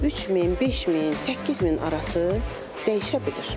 3000, 5000, 8000 arası dəyişə bilir.